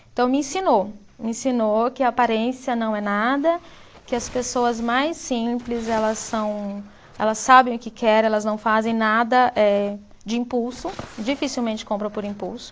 Então me ensinou, me ensinou que a aparência não é nada, que as pessoas mais simples, elas são, elas sabem o que querem, elas não fazem nada eh de impulso, dificilmente compram por impulso.